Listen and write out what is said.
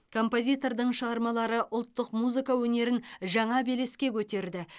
композитордың шығармалары ұлттық музыка өнерін жаңа белеске көтерді